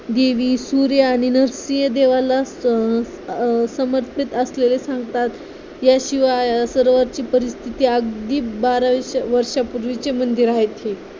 देवी सूर्य आणि नरसिंह देवाला असत समर्पित असलेले सांगतात याशिवाय सरोवरची परिस्थिती अगदी बारा वर्षापूर्वीची मंदिर आहेत हि